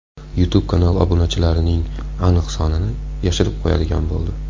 YouTube kanal obunachilarining aniq sonini yashirib qo‘yadigan bo‘ldi.